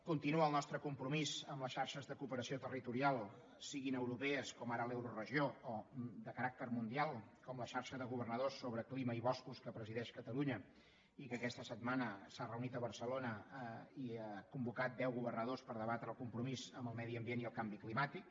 continua el nostre compromís amb les xarxes de cooperació territorial siguin europees com ara l’euroregió o de caràcter mundial com la xarxa de governadors sobre clima i boscos que presideix catalunya i que aquesta setmana s’ha reunit a barcelona i ha convocat deu governadors per debatre el compromís amb el medi ambient i el canvi climàtic